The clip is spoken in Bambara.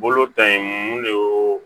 Bolo ta in mun de y'o